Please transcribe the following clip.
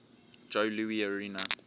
joe louis arena